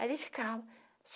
Ali ficava.